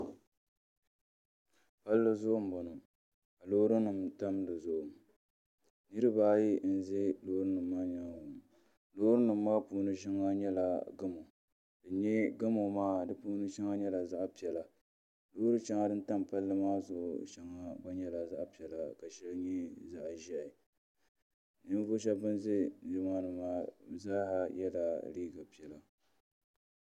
palli zuɣu m-bɔŋɔ loorinima tam di zuɣu niriba ayi m-be loorinima maa ʒe nyaaŋa lootinima maa puuni shɛŋa nyala gamo din nya gamo maa di puuni shɛŋa nyɛla zaɣ'piɛla ka shɛŋa nyɛ zaɣ'ʒiɛhi loori shɛŋa din tam palli maa zuɣu gba shɛŋa nyɛla zaɣ'piɛla ka shɛŋa nyɛ zaɣ'ʒiɛhi nimvuɣ'shɛba ban be nimaani zaaha yela neempiɛla